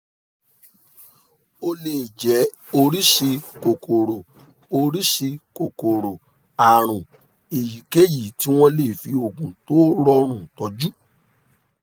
ó lè jẹ́ oríṣi kòkòrò oríṣi kòkòrò àrùn èyíkéyìí tí wọ́n lè fi oògùn tó rọrùn tọ́jú